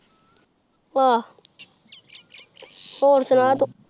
ਆਆਹ ਹੋਰ ਸੁਨਾ ਤੂ